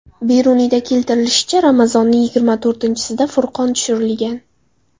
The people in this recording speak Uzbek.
Beruniyda keltirilishicha, Ramazonning yigirma to‘rtinchisida Furqon tushirilgan.